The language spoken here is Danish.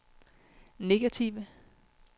negative